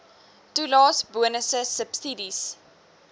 toelaes bonusse subsidies